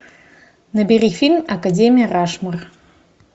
набери фильм академия рашмор